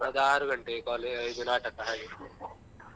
ಅದು ಆರು ಗಂಟೆಗೆ ಕಾಲೇ~ ಇದು ನಾಟಕ ಹಾಗೆ.